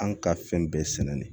An ka fɛn bɛɛ sɛnɛnen de